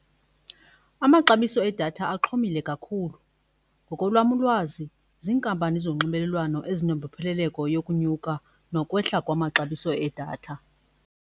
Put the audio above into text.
Amaxabiso edatha axhomile kakhulu. Ngokolwam ulwazi ziinkampani zonxibelelwano ezinembopheleleko yokonyuka nokwehla kwamaxabiso edatha.